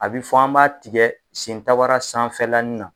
A bɛ fɔ an b'a tigɛ sentabara sanfɛlani na.